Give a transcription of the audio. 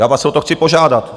Já vás o to chci požádat.